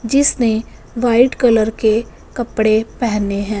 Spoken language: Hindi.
जिसने व्हाइट कलर के कपड़े पहने हैं।